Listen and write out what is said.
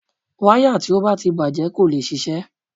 Wáyà tí ó bá ti bàjẹ́ kò lè ṣiṣẹ́.